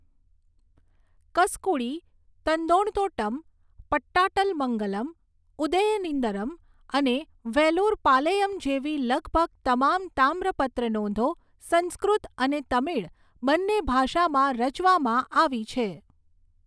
કસકુડી, તંદણતોટ્ટમ, પટ્ટાટ્ટલમંગલમ, ઉદયેન્દિરમ અને વેલુરપાલૈયમ જેવી લગભગ તમામ તામ્રપત્ર નોંધો સંસ્કૃત અને તમિળ બંને ભાષામાં રચવામાં આવી છે.